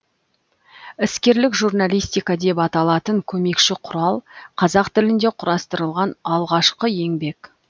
іскерлік журналистика деп аталатын көмекші құрал қазақ тілінде құрастырылған алғашқы еңбек